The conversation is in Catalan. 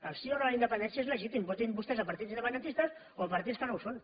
el sí o no a la independència és legítim votin vostès partits independentistes o partits que no ho són